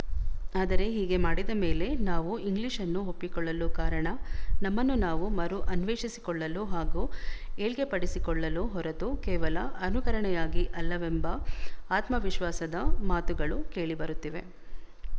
ಆದರೆ ಹೀಗೆ ಮಾಡಿದ ಮೇಲೆ ನಾವು ಇಂಗ್ಲಿಶ್‌ನ್ನು ಒಪ್ಪಿಕೊಳ್ಳಲು ಕಾರಣ ನಮ್ಮನ್ನು ನಾವು ಮರು ಅನ್ವೇಶಿಸಿಕೊಳ್ಳಲು ಹಾಗೂ ಏಳ್ಗೆಪಡಿಸಿಕೊಳ್ಳಲು ಹೊರತು ಕೇವಲ ಅನುಕರಣೆಯಾಗಿ ಅಲ್ಲವೆಂಬ ಆತ್ಮವಿಶ್ವಾಸದ ಮಾತುಗಳು ಕೇಳಿ ಬರುತ್ತಿವೆ